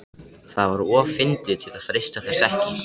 Það var of fyndið til að freista þess ekki.